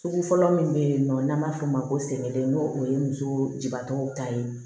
Sugu fɔlɔ min bɛ yen nɔ n'an b'a f'o ma ko sɛgɛnden n'o o ye muso jibaatɔ ta ye